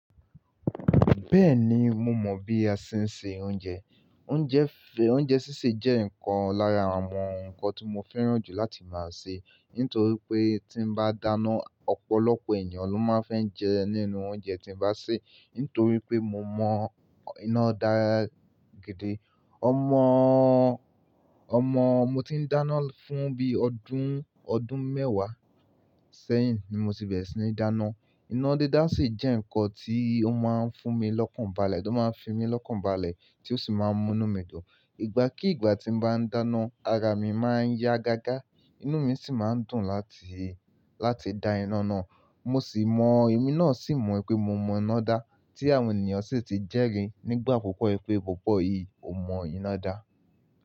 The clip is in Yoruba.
Bẹ́ẹ̀ni, mo mọ̀ bí a ṣe ń se oúnjẹ. Oúnjẹ, oúnjẹ sísè jẹ́ nǹkan lára àwọn nǹkan tí mo fẹ́ràn jù láti máa sè, nítorí pé tí bá dáná, ọ̀pọ̀lọpọ̀ ènìyàn ló máa fẹ́ jẹ nínú oúnjẹ tí mo bá sè, nítorí pé mo mọ iná dá gidi. Ọmọ, ọmọ mo ti ń dáná fún bí i ọdún, ọdún mẹ́wàá sẹ́yìn ni mo ti bẹ̀rẹ̀ sí ní dáná. Iná dídá sì jẹ́ nǹkan tí ó máa ń fún mi lọ́kàn balẹ̀, ló máa ń fi mí lọ́kàn balẹ̀ tí ó sì máa ń mú inú mí dùn. Ìgbà kí ìgbà tí mo bá ń dáná, ara mi máa ń yá ga ga, inú mi sì máa ń dùn láti, láti da iná náà. Mo sì mọ̀, èmi náà sì mọ̀ pé mo mọ iná dá tí àwọn ènìyàn sì ti jẹ́ri nígbà pupọ pé, "bọ̀bọ́ yìí ò mọ iná dá."